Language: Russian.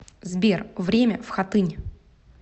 сбер время в хатынь